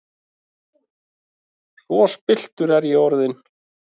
Svo spilltur er ég orðinn!